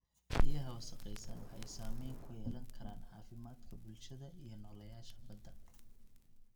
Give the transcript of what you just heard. Biyaha wasakhaysan waxay saameyn ku yeelan karaan caafimaadka bulshada iyo nooleyaasha badda.